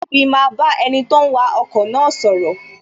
Tobi maa ba enito ń wa ọkọ̀ na sọ̀rọ̀